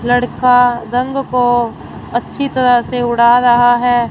लड़का रंग को अच्छी तरह से उड़ा रहा है।